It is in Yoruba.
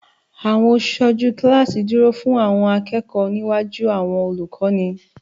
Àwọn aṣojú kíláàsì dúró fún Awon akẹ́kọ̀ọ́ níwájú àwọn olùkọ́ni